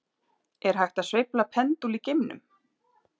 Er hægt að sveifla pendúl í geimnum?